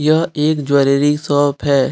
यह एक jewellery shop है।